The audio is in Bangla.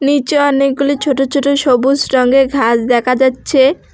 নীচে অনেকগুলি ছোট ছোট সবুজ রঙের ঘাস দেখা যাচ্ছে।